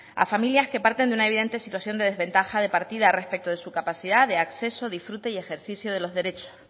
a familias que parten de una evidente situación de desventaja de partidas respecto de su capacidad de acceso disfrute y ejercicio de los derechos